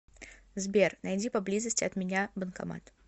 сбер найди поблизости от меня банкомат